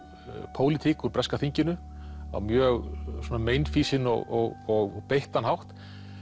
pólitík úr breska þinginu á mjög svona meinfýsinn og beittan hátt